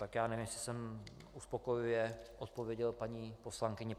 Tak já nevím, jestli jsem uspokojivě odpověděl paní poslankyni.